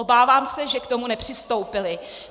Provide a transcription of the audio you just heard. Obávám se, že k tomu nepřistoupily.